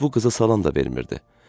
Heç bu qıza salam da vermirdi.